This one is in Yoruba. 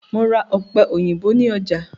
Mo ra ọ̀pẹ-òyìnbó ní ọjà.